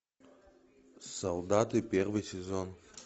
солдаты первый сезон